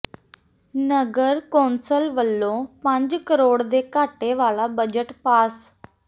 ਨਗਰ council ਵੱਲੋਂ ਪੰਜ ਕਰੋੜ ਦੇ ਘਾਟੇ ਵਾਲਾ ਬਜਟ ਪਾਸ